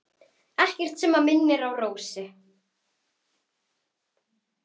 Ekkert sem minnir á Rósu.